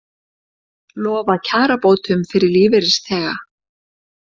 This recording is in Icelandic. Lofa kjarabótum fyrir lífeyrisþega